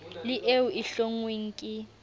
le eo e hlonngweng ke